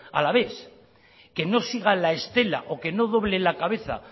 alavés que no siga la estela o que no doble la cabeza